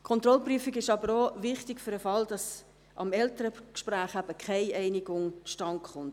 Die Kontrollprüfung ist aber auch wichtig für den Fall, dass am Elterngespräch keine Einigung zustande kommt.